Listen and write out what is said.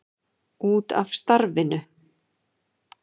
Út af starfinu.